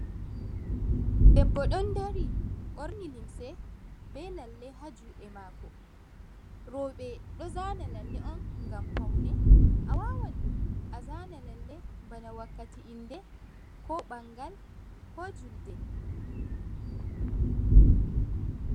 Debbo ɗon dari ɓorni limse be lalle ha juɗe mako, roɓe ɗo zana lalle on ngam faune, a wannan a zana lalle bana wakkati inde Ko ɓangal ko julde.